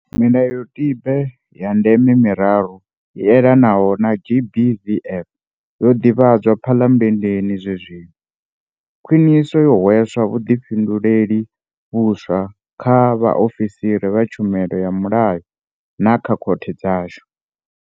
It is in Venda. Milayotibe ya ndeme miraru i elanaho na GBVF yo ḓivhadzwa Phalame-nndeni zwenezwino. Khwiniso yo hwedza vhuḓikumedzeli vhuswa kha vhaofisiri vha tshumiso ya mulayo na kha khothe dzashu.